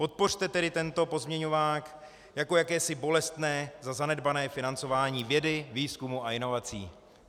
Podpořte tedy tento pozměňovák jako jakési bolestné za zanedbané financování vědy, výzkumu a inovací.